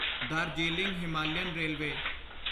Darjeeling Himalayan railway